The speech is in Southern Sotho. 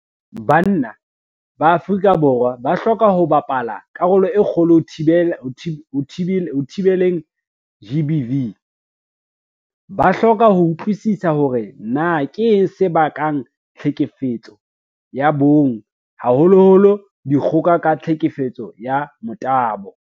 Banna ba Afrika Borwa ba hloka ho bapala karolo e kgolo ho thibeleng GBV. Ba hloka ho utlwisisa hore na keng se bakang tlhekefetso ya bong, haholoholo dikgoka ka tlhekefetso ya motabo.